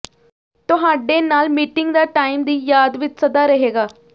ਤੁਹਾਡੇ ਨਾਲ ਮੀਟਿੰਗ ਦਾ ਟਾਈਮ ਦੀ ਯਾਦ ਵਿਚ ਸਦਾ ਰਹੇਗਾ